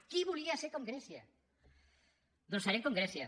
qui volia ser com grècia doncs serem com grècia